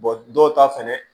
dɔw ta fɛnɛ